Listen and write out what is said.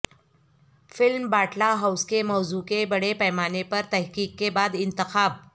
film Batla House کے موضوع کا بڑے پیمانے پر تحقیق کے بعد انتخاب